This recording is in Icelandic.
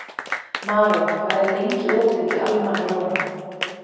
Maron, hvað er lengi opið í Almannaróm?